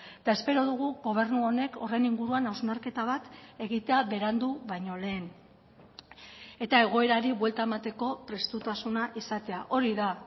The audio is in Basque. eta espero dugu gobernu honek horren inguruan hausnarketa bat egitea berandu baino lehen eta egoerari buelta emateko prestutasuna izatea hori da